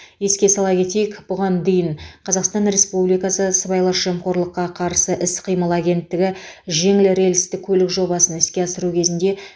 еске сала кетейік бұған дейін қазақстан республикасы сыбайлас жемқорлыққа қарсы іс қимыл агенттігі жеңіл рельсті көлік жобасын іске асыру кезінде